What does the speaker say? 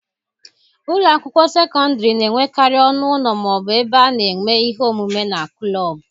Ụlọ akwụkwọ sekọndịrị na-enwekarị ọnụ ụlọ ma ọ bụ ebe a na-eme ihe omume na kụlọọbụ.